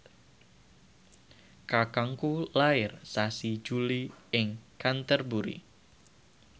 kakangku lair sasi Juli ing Canterbury